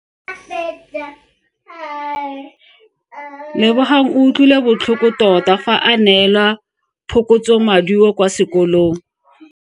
Lebogang o utlwile botlhoko tota fa a neelwa phokotsomaduo kwa sekolong.